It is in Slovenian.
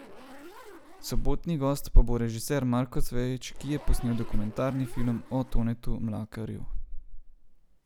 Sobotni gost pa bo režiser Marko Cvejić, ki je posnel dokumentarni film o Tonetu Mlakarju.